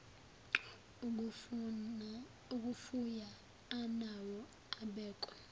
okufuya anawo abekwe